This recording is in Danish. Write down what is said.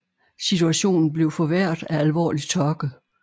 Situationen blev forværret af alvorlig tørke